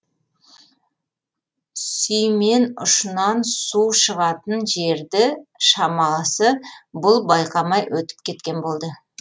сүймен ұшынан су шығатын жерді шамасы бұл байқамай өтіп кеткен болды